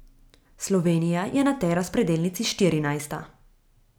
Slovenija je na tej razpredelnici štirinajsta.